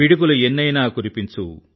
పిడుగులు ఎన్నైనా కురిపించు